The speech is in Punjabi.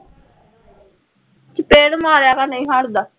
ਚਪੇੜ ਮਾਰਿਆ ਕਰ ਨਹੀਂ ਹੱਟਦਾ